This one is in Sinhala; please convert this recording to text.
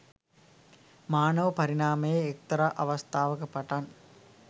මානව පරිණාමයේ එක්තරා අවස්ථාවක පටන්